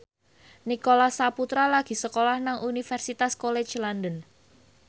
Nicholas Saputra lagi sekolah nang Universitas College London